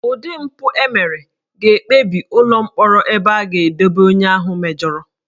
Ụdị mpụ e mere ga-ekpebi ụlọ mkpọrọ ebe a ga-edobe onye ahụ mejọrọ